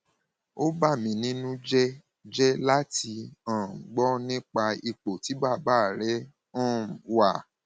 ó bà mí nínú jẹ jẹ láti um gbọ nípa ipò tí bàbá rẹ um wà